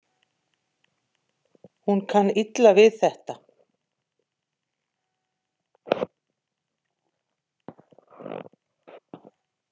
Hún kann illa við þetta.